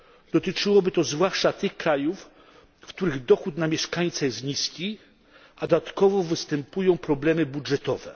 Dotyczyłoby to zwłaszcza tych krajów, w których dochód na mieszkańca jest niski, a dodatkowo występują problemy budżetowe.